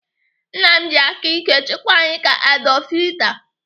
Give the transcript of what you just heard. Nna m ji aka ike chịkwa anyị ka Adolf Hitler.